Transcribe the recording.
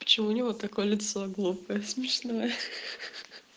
почему у него такое лицо глупое смешное хи хи